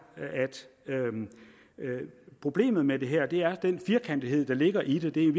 at problemet med det her er den firkantethed der ligger i det det er